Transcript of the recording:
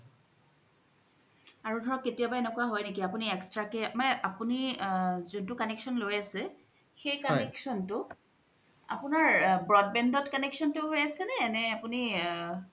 আৰু ধৰক কেতিয়া বা এনেকুৱা হয় নেকি আপুনি আপুনি extra কে মানে আপুনি জোনতু connection লই আছে সেই connection তু আপুনাৰ broadband ত connection তু হয় আছে নে আপুনি অ